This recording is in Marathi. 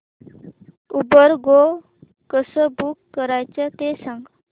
उबर गो कसं बुक करायचं ते सांग